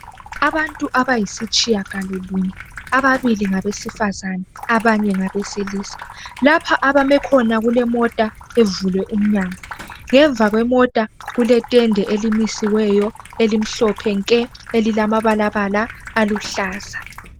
Abantu abayisitshiyagalolunye, ababili ngabesifazane ,abanye ngabesilisa. Lapha abame khona kule mota evulwe umnyango. Ngemva kwemota kutende elimisiweyo elimhlophe nke, elilamabalabala aluhlaza.